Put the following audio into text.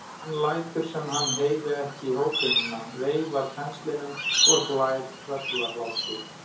Hann lætur sem hann heyri ekki hótunina, veifar penslinum og hlær tröllahlátri.